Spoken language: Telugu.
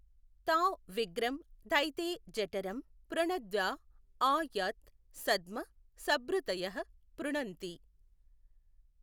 తా విగ్రం ధైథే జఠరమ్ పృణధ్యా ఆ యత్ సద్మ సభృతయః పృణన్తి।